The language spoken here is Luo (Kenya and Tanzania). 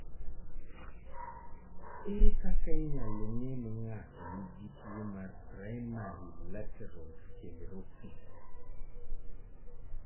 Ere kaka inyalo ng'e ni ng'ato nigi tuwo mar primary lateral sclerosis?